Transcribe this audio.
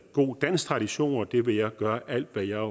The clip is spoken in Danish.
god dansk tradition og det vil jeg gøre alt hvad jeg